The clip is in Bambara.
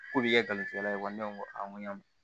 K'u bi kɛ garijɛgɛ ye wa ne ko n ko n ko yan